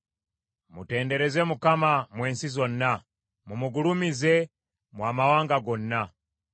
Mutendereze Mukama , mmwe ensi zonna; mumugulumize, mmwe amawanga gonna.